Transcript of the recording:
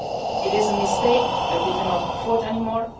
ended. It is a mistake that we cannot afford